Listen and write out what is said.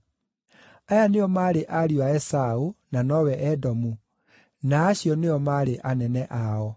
Aya nĩo maarĩ ariũ a Esaũ (na nowe Edomu), na acio nĩo maarĩ anene ao.